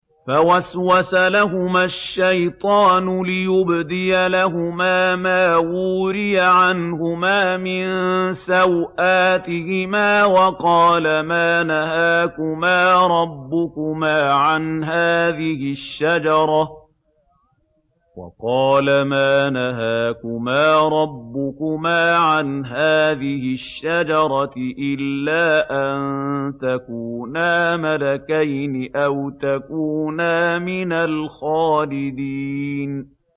فَوَسْوَسَ لَهُمَا الشَّيْطَانُ لِيُبْدِيَ لَهُمَا مَا وُورِيَ عَنْهُمَا مِن سَوْآتِهِمَا وَقَالَ مَا نَهَاكُمَا رَبُّكُمَا عَنْ هَٰذِهِ الشَّجَرَةِ إِلَّا أَن تَكُونَا مَلَكَيْنِ أَوْ تَكُونَا مِنَ الْخَالِدِينَ